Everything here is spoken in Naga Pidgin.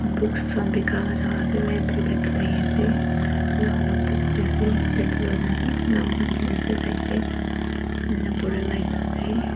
books khan bikai laga jaka ase libarary type teh thaki ase alak alak books tey ase paper wa naam naam khan likhi nah ase side teh enia opor teh lights ase.